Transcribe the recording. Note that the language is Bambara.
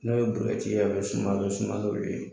N'o ye ye a bɛ suma a bɛ suma n'o ye.